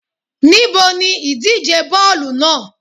Níbo ni ìdíje bóòlù naa?